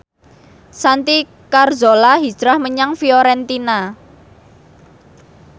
Santi Carzola hijrah menyang Fiorentina